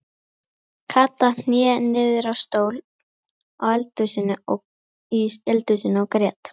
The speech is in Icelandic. Kata hné niður á stól í eldhúsinu og grét.